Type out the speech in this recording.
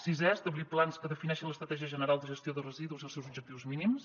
sisè establir plans que defineixen l’estratègia general de gestió de residus i els seus objectius mínims